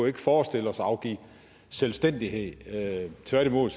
ikke forestille os at afgive selvstændighed tværtimod